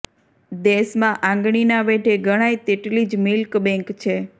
દેશમાં આંગળીના વેઢે ગણાય તેટલી જ મિલ્ક બેંક છે